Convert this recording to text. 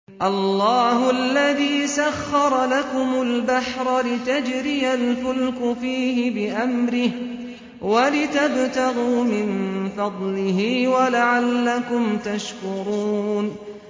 ۞ اللَّهُ الَّذِي سَخَّرَ لَكُمُ الْبَحْرَ لِتَجْرِيَ الْفُلْكُ فِيهِ بِأَمْرِهِ وَلِتَبْتَغُوا مِن فَضْلِهِ وَلَعَلَّكُمْ تَشْكُرُونَ